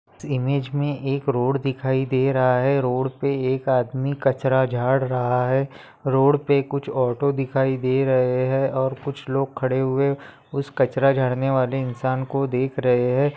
Image में एक road दिखाई दे रहा है रोड पे एक आदमी कचरा झाड़ रहा है रोड पे कुछ ऑटो दिखाई दे रहे हैं और कुछ लोग खड़े हुए उस कचरा झाड़नेवाले इन्सान को देख रहे है।